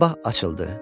Sabah açıldı.